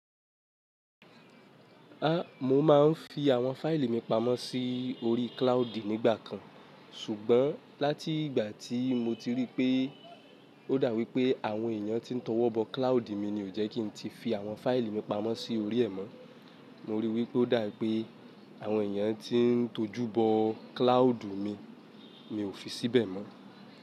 A mo ma n fi àwọn fáìlì mi pamọ́ sí orí cloudy nígbà kan ṣùgbọ́n láti ìgbà tí mo ti rí pé ó dà wípé àwọn èèyàn tí n tọwọ́ bọ cloudy mi ni ò jẹ́ kí n tí fi àwọn fáìlì mi pamọ́ sí orí ẹ̀ mọ́. Mo rí i wípé ó dà wípé àwọn èèyàn tí n tojú bọ cloudy mi, mi ò fi síbẹ̀ mọ́